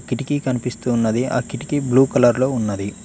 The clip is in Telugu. కిటికీ కనిపిస్తూ ఉన్నది ఆ కిటికీ బ్లూ కలర్ లో ఉన్నది.